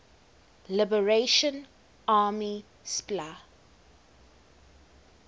liberation army spla